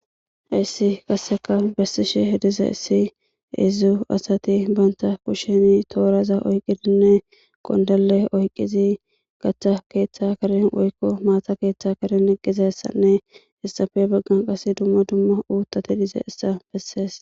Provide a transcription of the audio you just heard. hayssi kasseka bersishe hedize issi izu asati baynta kusheni tooraza oyqidinne qondale oyqqizi gaththa keeththa karin woykko maata keeththe karin eggizessanne hessafe baggan qas dumma dumma uuttati dize issa bessees